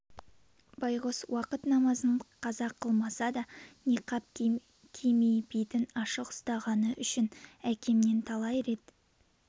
байғұс уакыт намазын қаза қылмаса да ниқкап кимей бетін ашық ұстағаны үшін әкемнен талай рет